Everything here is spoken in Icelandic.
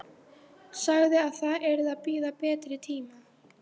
Sagði að það yrði að bíða betri tíma.